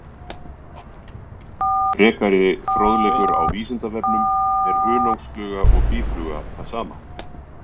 Frekari fróðleikur á Vísindavefnum: Er hunangsfluga og býfluga það sama?